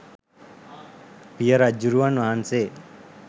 පිය රජ්ජුරුවන් වහන්සේ